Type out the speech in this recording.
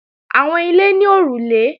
Àwọn ilé ní òrùlé